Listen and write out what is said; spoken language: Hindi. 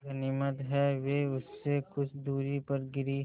गनीमत है वे उससे कुछ दूरी पर गिरीं